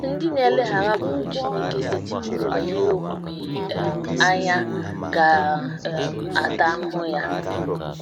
Ndị na - eleghara ụkpụrụ Chineke setịpụrụ banyere omume um anya ga - um ata ahụhụ ya.